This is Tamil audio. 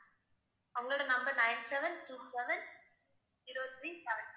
உங்களோட number nine seven two seven zero three seven